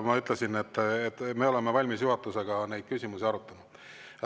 Ma ütlesin, et me oleme valmis juhatuses neid küsimusi arutama.